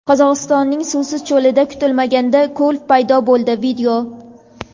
Qozog‘istonning suvsiz cho‘lida kutilmaganda ko‘l paydo bo‘ldi.